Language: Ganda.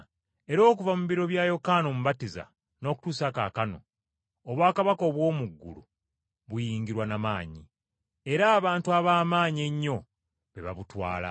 Era okuva mu biro bya Yokaana Omubatiza n’okutuusa kaakano, obwakabaka obw’omu ggulu buyingirwa n’amaanyi, era abantu ab’amaanyi ennyo be babutwala.